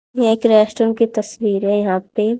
यह एक रेस्टोरेंट की तस्वीर है यहां पे--